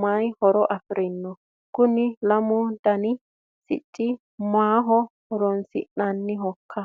mayi horo afirino ? kuni lamu dani sicci maaho horoonsi'nannihoikka